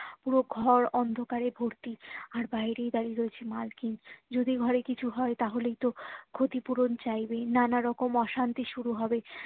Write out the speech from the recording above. পুরো ঘরে অন্ধকারে ভর্তি আর বাইরেই দাঁড়িয়ে রয়েছেন মালকিন যদি ঘরে কিছু হয়ে তাহলেই তো ক্ষতি পূরণ চাইবেই নানা রকম অশান্তি শুরু হবে